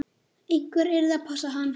Einhver yrði að passa hann.